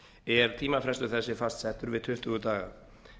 er tímafrestur þessi fastsettur við tuttugu daga